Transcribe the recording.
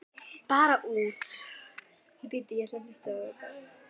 Bara út.